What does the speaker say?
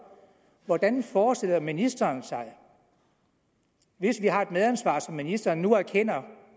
hvordan forestiller ministeren sig hvis vi har et medansvar som ministeren nu erkender